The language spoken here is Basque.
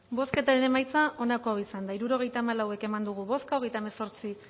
bozketaren emaitza onako izan da hirurogeita hamabost eman dugu bozka hogeita hemezortzi